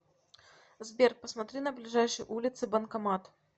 сбер посмотри на ближайшей улице банкомат